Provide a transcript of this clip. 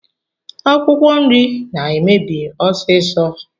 Akwụkwọ nri na-emebi ọsiisọ.